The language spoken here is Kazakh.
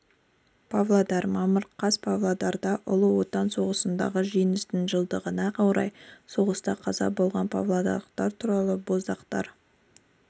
павлодар мамыр қаз павлодарда ұлы отан соғысындағы жеңістің жылдығына орай соғыста қаза болған павлодарлықтар туралы боздақтар